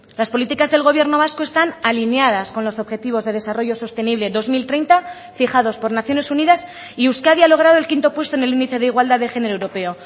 las políticas del gobierno vasco están alineadas con los objetivos de desarrollo sostenible dos mil treinta fijados por naciones unidas y euskadi ha logrado el quinto puesto en el índice de igualdad de género europeo